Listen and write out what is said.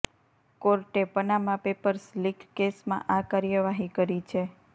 કોર્ટે Panama papers leak કેસમાં આ કાર્યવાહી કરી છે